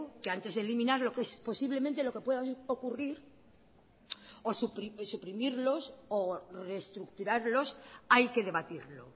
que antes de eliminar lo que es posiblemente lo que pueda ocurrir o suprimirlos o reestructurarlos hay que debatirlo